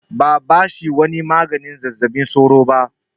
Ba a bashi ko wani maganin zazzabin sauro ba.